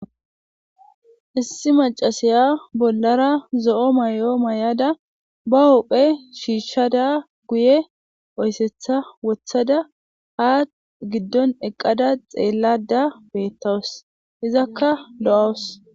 issi macasiya bollara zo7o mayo mayada ba hopphe shiishshada guye oyssetha wothada haa giddon eqqada xeellada beettawus izakka do7awus